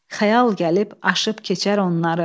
Xəyal gəlib aşıb keçər onları.